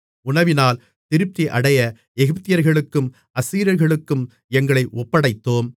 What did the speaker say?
உணவினால் திருப்தியடைய எகிப்தியர்களுக்கும் அசீரியர்களுக்கும் எங்களை ஒப்படைத்தோம்